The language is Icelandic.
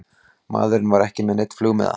Maðurinn var ekki með neinn flugmiða